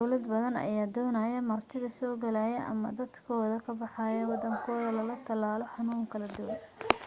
dawlado badan ayaa doonayo martida soo galayso ama dadkooda ka baxaayo wadankooda laga talaalo xanuuna kala duwan